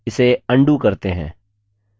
इसे अन्डू करते हैं